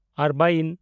ᱟᱨᱵᱟᱭᱤᱱ